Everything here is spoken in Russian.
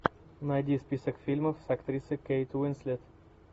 найди список фильмов с актрисой кейт уинслет